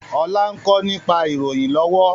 Ọlá ń kọ́ nípa ìròyìn lọ́wọ́